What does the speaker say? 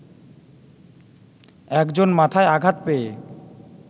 একজন মাথায় আঘাত পেয়ে